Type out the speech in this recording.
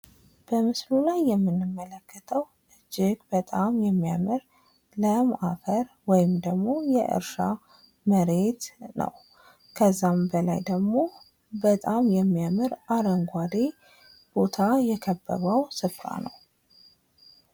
በምስሉ ላይ የምንመለከተው እጂግ በጣም የሚያምር ለም አፈር ወይም ደግሞ የእርሻ መሬት ነው። ከዚያም በላይ ደግሞ በጣም የሚያምር አረንጓዴ ቦታ የከበበው ስፍራ ነው።